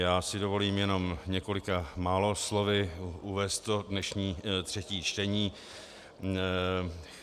Já si dovolím jenom několika málo slovy uvést dnešní třetí čtení.